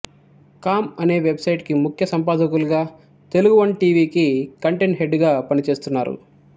కాం అనే వెబ్సైట్ కి ముఖ్య సంపాదకులుగా తెలుగువన్ టీ వికి కంటేట్ హెడ్ గా పనిచేస్తున్నారు